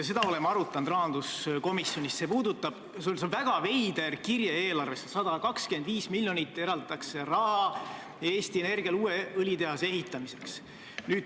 Me oleme arutanud rahanduskomisjonis seda eelarves olevat väga veidrat kirjet: 125 miljonit eraldatakse raha Eesti Energiale uue õlitehase ehitamiseks.